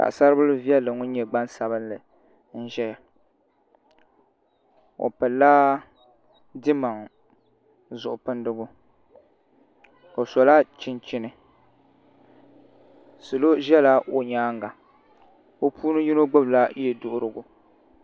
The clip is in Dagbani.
Paɣasaribili viɛlli ŋun nyɛ gbaŋsabinli n ʒɛya o pilila dimaŋ zuɣu pindigu o sola chinchini salo ʒɛla o nyaanga bi puuni yino gbubila yɛduɣurigu